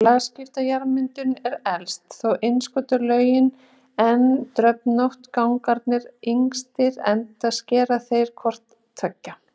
Lagskipta jarðmyndunin er elst, þá innskotslögin en dröfnóttu gangarnir yngstir enda skera þeir hvort tveggja.